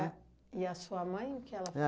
e sua mãe, o que ela